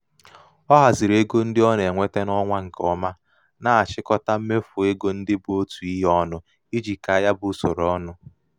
ọ haziri ego um ndị ọ um na-enweta n'ọnwa nke ọma na-achịkọta mmefu ego ndị bụ otu ihe ọnụ iji kaa ya bụ usoro ọnụ.